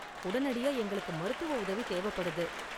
உடனடியா எங்களுக்கு மருத்துவ உதவி தேவப்படுது.